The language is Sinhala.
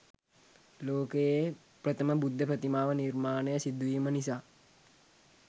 ලෝකයේ ප්‍රථම බුද්ධ ප්‍රතිමා ව නිර්මාණය සිදුවීම නිසා